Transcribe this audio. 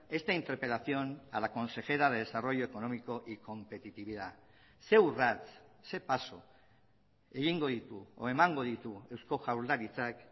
esta interpelación a la consejera de desarrollo económico y competitividad ze urrats ze paso egingo ditu edo emango ditu eusko jaurlaritzak